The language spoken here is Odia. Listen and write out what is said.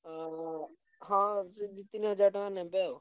ଉଁ ହଁ ସେ ଦି ତିନି ହଜାର ନେବେ ଆଉ।